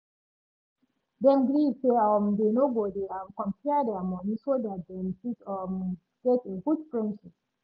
dem agree say um dey no go dey um compare their money so dat dem fit um get a good friendship